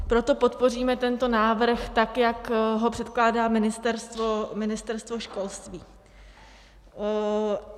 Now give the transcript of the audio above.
Proto podpoříme tento návrh, tak jak ho předkládá Ministerstvo školství.